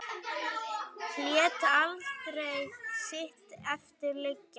Lét aldrei sitt eftir liggja.